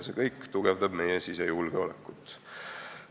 See kõik tugevdab meie sisejulgeolekut.